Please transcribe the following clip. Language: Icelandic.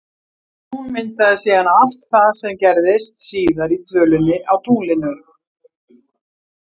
Hún myndaði síðan allt það sem gerðist síðar í dvölinni á tunglinu.